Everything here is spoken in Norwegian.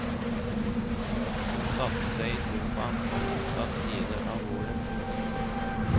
Hun satte seg i sofaen på motsatt side av bordet.